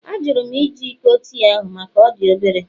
Ajụrụ m iji iko tii ahụ maka na ọ dị obere